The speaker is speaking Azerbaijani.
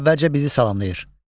O əvvəlcə bizi salamlayır.